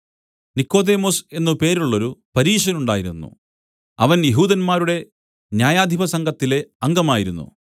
നിക്കോദെമോസ് എന്നു പേരുള്ളോരു പരീശനുണ്ടായിരുന്നു അവൻ യെഹൂദന്മാരുടെ ന്യായാധിപസംഘത്തിലെ അംഗമായിരുന്നു